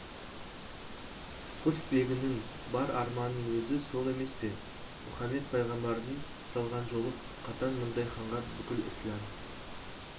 құсбегінің бар арманының өзі сол емес пе мұхамед пайғамбардың салған жолы қатаң мұндай ханға бүкіл ісләм